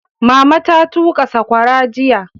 Mama ta tuƙa saƙwara jiya.